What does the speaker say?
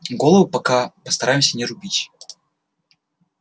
головы пока постараемся не рубить